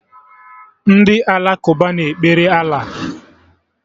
Ndị Alakụba na-ekpere Allah